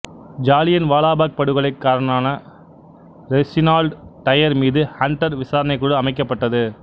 ஜாலியன்வாலா பாக் படுகொலை காரணான Reginald Dyer மீது ஹண்டர் விசாரணைக்குழு அமைக்கப்பட்டது